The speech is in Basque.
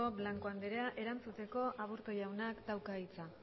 blanco andrea erantzuteko aburto jaunak dauka hitza